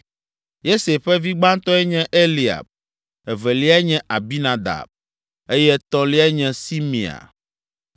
Yese ƒe vi gbãtɔe nye Eliab, eveliae nye Abinadab eye etɔ̃liae nye Simea;